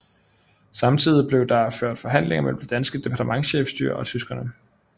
Samtidig blev der ført forhandlinger mellem det danske departementchefstyre og tyskerne